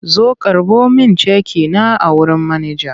Zo karɓo min ceki na a wurin manaja!